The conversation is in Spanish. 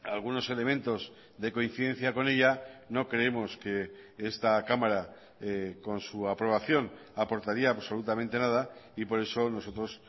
algunos elementos de coincidencia con ella no creemos que esta cámara con su aprobación aportaría absolutamente nada y por eso nosotros